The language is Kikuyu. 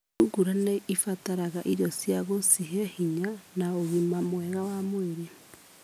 Thungura nĩ ĩbataraga irio cia gũcihe hinya na ũgima mwega wa mwĩrĩ.